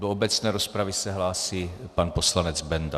Do obecné rozpravy se hlásí pan poslanec Benda.